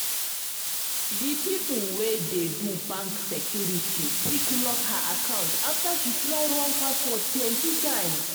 di people wey dey do bank security quick lock her account after she try wrong password plenty times.